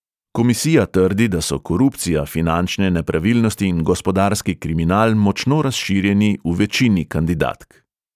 Komisija trdi, da so korupcija, finančne nepravilnosti in gospodarski kriminal močno razširjeni v večini kandidatk.